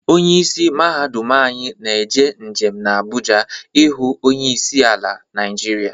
Onye isi mahadum anyi na-eje njem na Abụja ije hụ onye isi ala Naịjiria